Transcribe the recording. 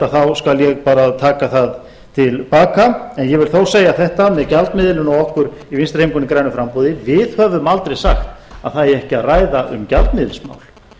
ósanngjarnt þá skal ég bara taka það til baka en ég vil þó segja þetta með gjaldmiðilinn og okkur í vinstri hreyfingunni grænu framboði við höfum aldrei sagt að það eigi ekki að ræða um gjaldmiðilsmál